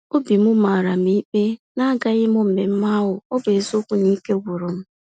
Obim màràm ikpe na agaghịm mmemmé ahụ, ọbụ eziokwu na Ike gwụrụ m.